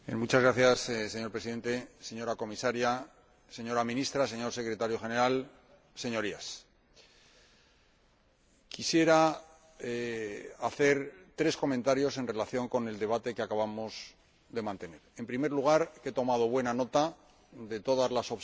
Señor Presidente, señora Comisaria, señora Ministra, señor Secretario General, Señorías, quisiera hacer tres comentarios en relación con el debate que acabamos de mantener. En primer lugar, he tomado buena nota de todas las observaciones,